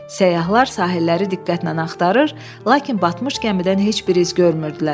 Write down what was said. Səyyahlar sahilləri diqqətlə axtırır, lakin batmış gəmidən heç bir iz görmürdülər.